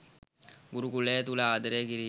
ගුරුකුලය තුල ආදරය කිරීම